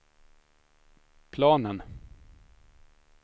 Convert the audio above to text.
planen